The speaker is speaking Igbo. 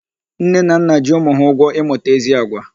Nne na nna ji ụmụ ha ụgwọ ịmụta ezi àgwà.